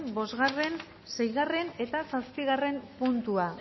bosgarren seigarren eta zazpigarren puntua